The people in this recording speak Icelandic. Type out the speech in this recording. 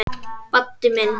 Baddi minn.